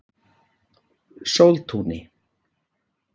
Sóltúni